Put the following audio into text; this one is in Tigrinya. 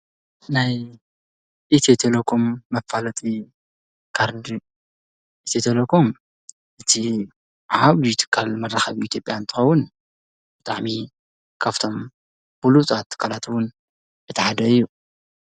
ናይ ኢትቴለኾም መፋለጢ ካር ኤቴኤቴሌኮም እቲ ዓዓብትካል መራኸብ ቲብያ እንተኸውን ዳዕሚ ካፍቶም ብሉጣት ካላትዉን የተዓደ እዩ።